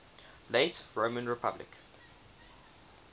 late roman republic